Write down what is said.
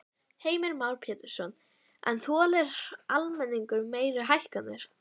Heimir Már Pétursson: En þolir almenningur meiri hækkanir?